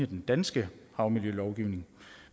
den danske havmiljølovgivning